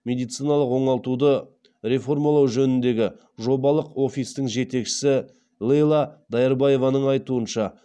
медициналық оңалтуды реформалау жөніндегі жобалық офистің жетекшісі лейла дайырбаеваның айтуынша